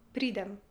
Pridem.